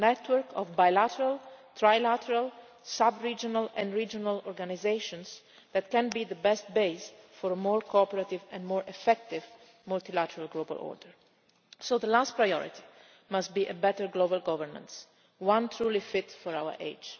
of that. A network of bilateral, trilateral, sub regional and regional organisations can be the best base for a more cooperative and more effective multilateral global order. So the last priority must be better global governance that is truly fit for